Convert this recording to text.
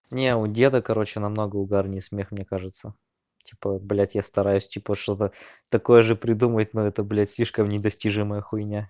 не у деда короче намного угарный смех мне кажется типа блядь я стараюсь типа чтобы такое же придумать но это блядь слишком недостижимая хуйня